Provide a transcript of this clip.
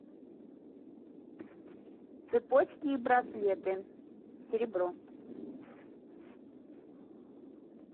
цепочки и браслеты серебро